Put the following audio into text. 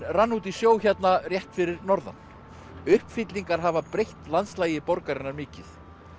rann út í sjó hérna rétt fyrir norðan uppfyllingar hafa breytt landslagi borgarinnar mikið